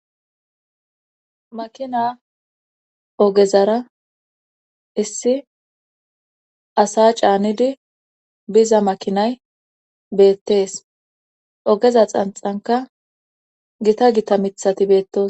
makina ogezara issi asa caanidi biza makinay beettees ogeza xanxanka gita gita mithati beettos